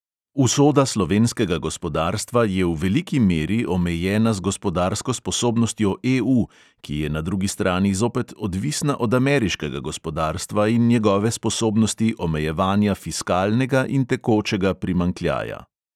Usoda slovenskega gospodarstva je v veliki meri omejena z gospodarsko sposobnostjo EU, ki je na drugi strani zopet odvisna od ameriškega gospodarstva in njegove sposobnosti omejevanja fiskalnega in tekočega primanjkljaja.